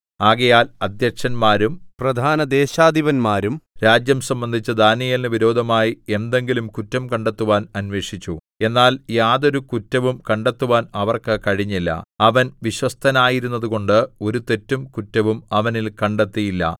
ആകയാൽ അദ്ധ്യക്ഷന്മാരും പ്രധാന ദേശാധിപന്മാരും രാജ്യം സംബന്ധിച്ച് ദാനീയേലിനു വിരോധമായി എന്തെങ്കിലും കുറ്റം കണ്ടെത്തുവാൻ അന്വേഷിച്ചു എന്നാൽ യാതൊരു കുറ്റവും കണ്ടെത്തുവാൻ അവർക്ക് കഴിഞ്ഞില്ല അവൻ വിശ്വസ്തനായിരുന്നതുകൊണ്ട് ഒരു തെറ്റും കുറ്റവും അവനിൽ കണ്ടെത്തിയില്ല